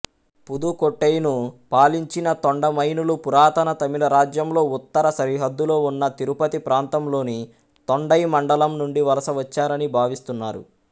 పుదుకోట్టైను పాలించిన తొండైమానులు పురాతన తమిళరాజ్యంలో ఉత్తర సరిహద్దులో ఉన్న తిరుపతి ప్రాంతంలోని తొండైమండలం నుండి వలస వచ్చారని భావిస్తున్నారు